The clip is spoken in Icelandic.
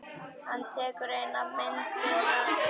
Hann tekur eina myndina upp.